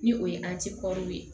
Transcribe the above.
Ni o ye ye